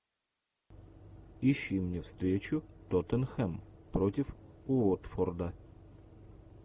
ищи мне встречу тоттенхэм против уотфорда